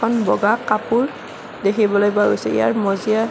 বগা কাপোৰ দেখিবলৈ পোৱা গৈছে ইয়াৰ মজিয়াত।